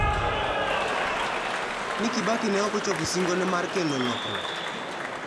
Ni Kibaki ne ok ochopo singone mar kelo lokruok.